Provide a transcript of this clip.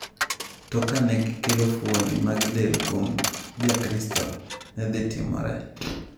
To ka ne gikelo fuoni mag del kuom Jakristo, ne dhi timore?